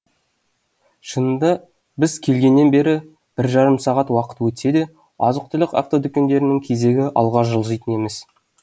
шынында біз келгеннен бері бір жарым сағат уақыт өтсе де азық түлік автодүкендерінің кезегі алға жылжыйтын емес